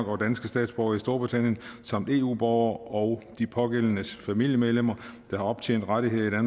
og danske statsborgere i storbritannien samt eu borgere og de pågældendes familiemedlemmer der har optjent rettigheder